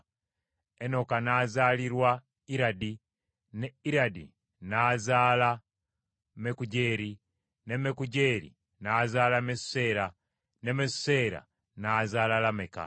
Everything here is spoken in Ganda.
Enoka n’azaalirwa Iradi ne Iradi n’azaala Mekujeeri, ne Mekujeeri n’azaala Mesuseera, ne Mesuseera n’azaala Lameka.